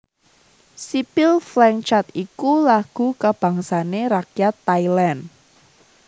Sipil Phleng Chat iku lagu kabangsané rakyat Thailand